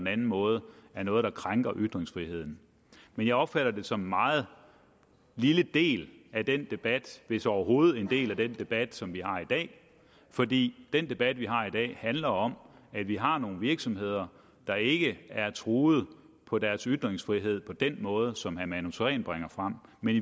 anden måde er noget der krænker ytringsfriheden men jeg opfatter det som en meget lille del af den debat hvis det overhovedet er en del af den debat som vi har i dag fordi den debat vi har i dag handler om at vi har nogle virksomheder der ikke er truet på deres ytringsfrihed på den måde som herre manu sareen bringer frem men